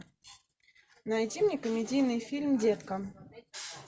найди мне комедийный фильм детка